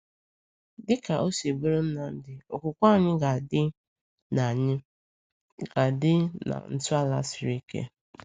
Dịka o si bụrụ Nnamdi, okwukwe anyị ga-adị na anyị ga-adị na ntọala siri ike.